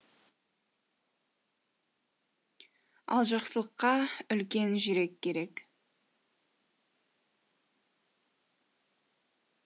ал жақсылыққа үлкен жүрек керек